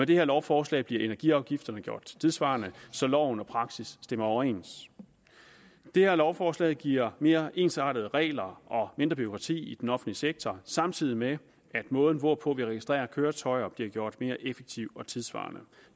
det her lovforslag bliver energiafgifterne gjort tidssvarende så loven og praksis stemmer overens det her lovforslag giver mere ensartede regler og mindre bureaukrati i den offentlige sektor samtidig med at måden hvorpå vi registrerer køretøjer bliver gjort mere effektiv og tidssvarende